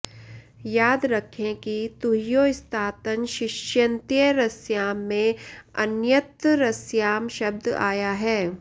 याद रखें कि तुह्योस्तातङ्ङाशिष्यन्यतरस्याम् में अन्यतरस्याम् शब्द आया है